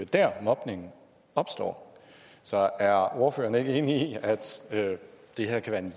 der mobningen opstår så er ordføreren ikke enig i at det her kan